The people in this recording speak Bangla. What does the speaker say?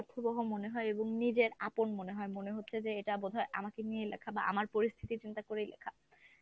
অর্থবহ মনে হয় এবং নিজের আপন মনে হয় মনে হচ্ছে যে এটা বোধ হয় আমাকে নিয়েই লেখা বা আমার পরিস্থিতি চিন্তা করেই লেখা।